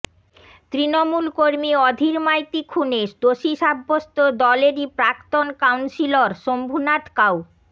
তৃণমূল কর্মীর অধীর মাইতি খুনে দোষী সাব্যস্ত দলেরই প্রাক্তন কাউন্সিলর শম্ভুনাথ কাউ